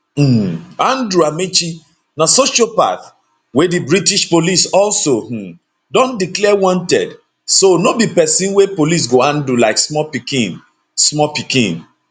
um andrew amechi na sociopath wey di british police also um don declare wanted so no be pesin wey police go handle like small pikin small pikin